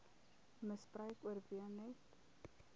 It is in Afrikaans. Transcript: misbruik oorwin net